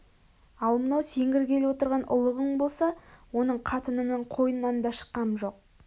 ал мынау сен кіргелі отырған ұлығың болса оның қатынының қойнынан да шыққам жоқ